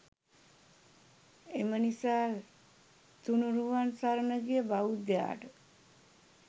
එම නිසා තුණුරුවන් සරණ ගිය බෞද්ධයාට